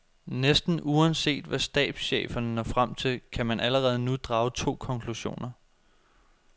Næsten uanset hvad stabscheferne når frem til, kan man allerede nu drage to konklusioner.